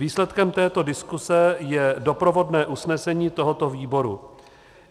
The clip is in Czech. Výsledkem této diskuse je doprovodné usnesení tohoto výboru.